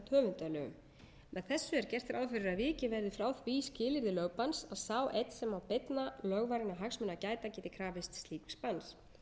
höfundalögum með þessu er gert ráð fyrir að vikið verði frá því skilyrði lögbanns að sá einn sem á beinna lögvarinna hagsmuna að gæta geti krafist slíks banns